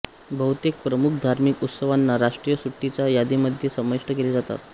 बहुतेक प्रमुख धार्मिक उत्सवांना राष्ट्रीय सुट्टीच्या यादीमध्ये समाविष्ट केले जातात